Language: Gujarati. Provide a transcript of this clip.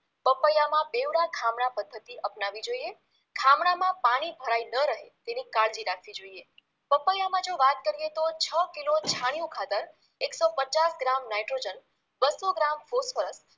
પપૈયામાં બેવડા ખામણા પદ્ધતિ અપનાવી જોઈએ ખામણામાં પાણી ભરાઈ ન રહે તેની કાળજી રાખવી જોઈએ, પપૈયામાં જો વાત કરીએ તો છ કિલો છાણિયુ ખાતર એકસો પચાસ ગ્રામ નાઈટ્રોજન બસો ગ્રામ ફોસ્ફરસ